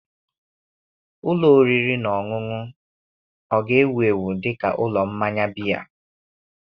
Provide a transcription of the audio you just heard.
Ụlọ oriri na ọṅụṅụ ọ ga-ewu ewu dị ka ụlọ mmanya biya?